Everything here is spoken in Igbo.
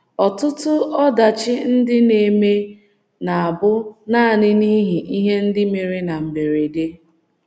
Ọtụtụ ọdachi ndị na - eme na - abụ nanị n'ihi ihe ndị mere na mberede.